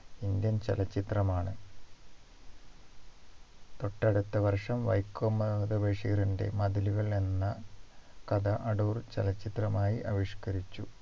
Indian ചലച്ചിത്രമാണ് തൊട്ടടുത്ത വർഷം വൈക്കം മുഹമ്മദ് ബഷീറിൻറെ മതിലുകൾ എന്ന കഥ അടൂർ ചലച്ചിത്രമായി ആവിഷ്കരിച്ചു